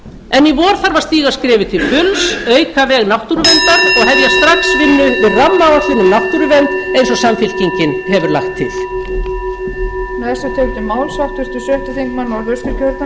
en í vor þarf að stíga skrefið til fulls auka veg náttúruverndar og hefja strax vinnu við rammaáætlun um náttúruvernd eins og samfylkingin hefur lagt til síðasta skjal